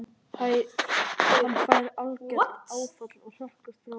Hann fær algert áfall og hrökklast frá honum.